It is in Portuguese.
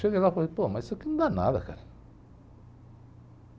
Chega lá eu falei, pô, mas isso aqui não dá nada, cara.